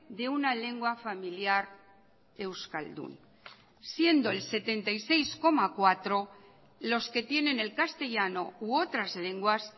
de una lengua familiar euskaldun siendo el setenta y seis coma cuatro los que tienen el castellano u otras lenguas